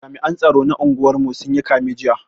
Jami'an tsaro na unguwar mu sun yi kame jiya